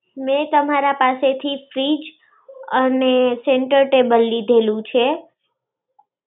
મેં તમારા પાસેથી fridge અને center table લીધેલું છે.